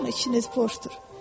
Amma içiniz boşdur.